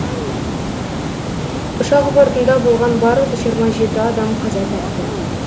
ұшақ бортында болған барлық жиырма жеті адам қаза тапты